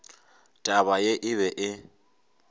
taba ye e be e